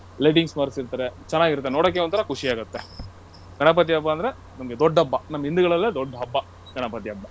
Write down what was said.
Lighting ಮಾಡ್ಸಿರ್ತಾರೆ ಚೆನ್ನಾಗಿರುತ್ತೆ ನೋಡೋಕ್ ಒಂಥರ ಖುಷಿಯಾಗುತ್ತೆ. ಗಣಪತಿ ಹಬ್ಬ ಅಂದ್ರೆ ನಮ್ಗೆ ದೊಡ್ಡ ಹಬ್ಬ ನಮ್ಮ ಹಿಂದೂಗಳಲ್ಲೇ ದೊಡ್ಡ ಹಬ್ಬ ಗಣಪತಿ ಹಬ್ಬ.